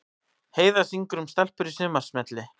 Heiða syngur um stelpur í sumarsmelli